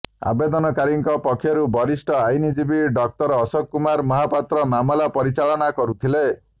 ଆବେଦନକାରୀଙ୍କ ପକ୍ଷରୁ ବରିଷ୍ଠ ଆଇନଜୀବୀ ଡକ୍ଟର ଅଶୋକ କୁମାର ମହାପାତ୍ର ମାମଲା ପରିଚାଳନା କରୁଥିଲେ